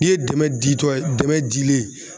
I ye dɛmɛ ditɔ ye dɛmɛ dilen